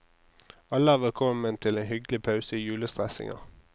Alle er velkommen til en hyggelig pause i julestressinga.